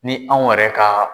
Ni anw yɛrɛ ka